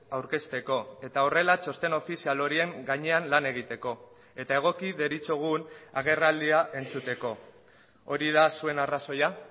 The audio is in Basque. aurkezteko eta horrela txosten ofizial horien gainean lan egiteko eta egoki deritzogun agerraldia entzuteko hori da zuen arrazoia